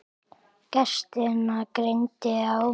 Gestina greindi á.